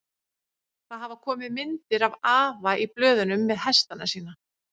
Það hafa komið myndir af afa í blöðunum með hestana sína.